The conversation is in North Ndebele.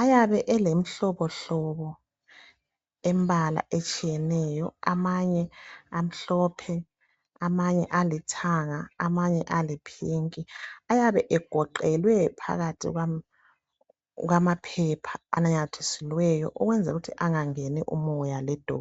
Ayabe elehlobohlobo elembala etshiyeneyo, amanye amhlophe , amanye alithanga, amanye ayiphinki. Ayabe egoqelwe phakathi kwamaphepha anamathiselweyo ukunzela ukuthi angangeni umoya ledothi.